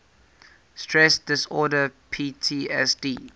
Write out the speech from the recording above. stress disorder ptsd